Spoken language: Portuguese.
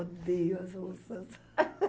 Odeio as russas.